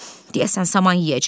Deyəsən saman yeyəcəm.